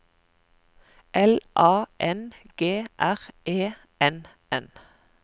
L A N G R E N N